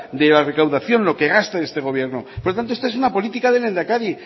de la recaudación lo que gasta este gobierno por lo tanto esta es una política del lehendakari